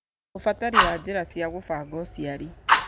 Ũbatari wa njĩra cia gũbanga ũciari